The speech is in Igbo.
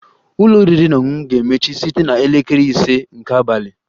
Ụlọ oriri na ọṅụṅụ ga-emechi site na elekere ise nke abalị